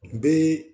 N bɛ